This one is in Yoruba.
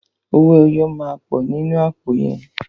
Owó ẹyọ máa pọ̀ nínú àpò yẹn.